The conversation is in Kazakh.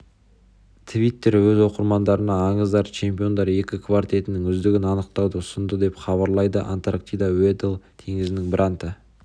твиттері өз оқырмандарына аңыздары чемпиондары екі квартетінің үздігін анықтауды ұсынды деп хабарлайды антарктидадағы уэдделл теңізінің бранта